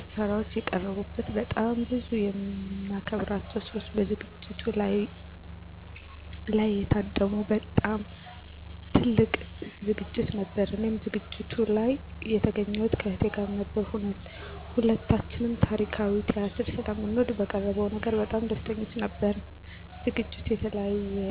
ጭፈራዎች የቀረቡበት በጣም ብዙ የምናከብራቸው ሰዎች በዝግጅቱ ላይ የታደሙ በት በጣም ትልቅ ዝግጅት ነበር። እኔም ዝግጅቱ ላይ የተገኘሁት ከእህቴ ጋር ነበር። ሁለታችንም ታሪካዊ ቲያትር ስለምንወድ በቀረበው ነገር በጣም ደስተኞች ነበርን። ዝግጅቱንም የተለየ እና የማይረሳ ያደረገው ሁለታችንም እጅግ የምናደንቃቸው እና የምንወዳቸውን ትልልቅ የኪነ -ጥበብ ሰዎችን ያገኘንበት አጋጣሚ ስለነበር ነው።